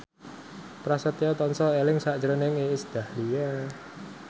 Prasetyo tansah eling sakjroning Iis Dahlia